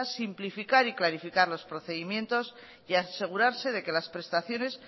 simplificar y clarificar los procedimientos y asegurarse de que las prestaciones